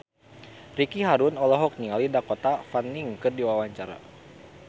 Ricky Harun olohok ningali Dakota Fanning keur diwawancara